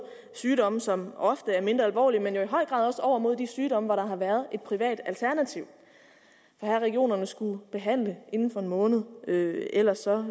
sygdomme som ofte er mindre alvorlige men jo i høj grad også over mod de sygdomme hvor der har været et privat alternativ her har regionerne skullet behandle inden for en måned ellers